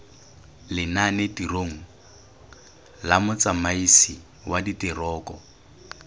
lenanetirong la motsamaisi wa direkoto